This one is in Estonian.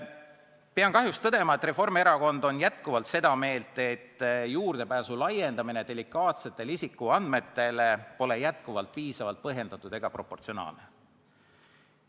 Pean kahjuks tõdema, et Reformierakond on endiselt seda meelt, et delikaatsetele isikuandmetele juurdepääsu laiendamine pole piisavalt põhjendatud ega proportsionaalne.